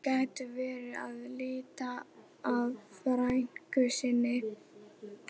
Þeir gætu verið að leita að frænku sinni.